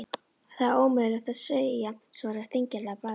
Það er ómögulegt að segja svaraði Steingerður að bragði.